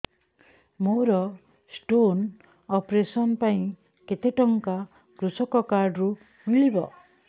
ମୋର stone operation ପାଇଁ କେତେ ଟଙ୍କା କୃଷକ କାର୍ଡ ରୁ ମିଳିବ